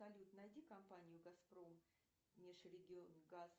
салют найди компанию газпром межрегионгаз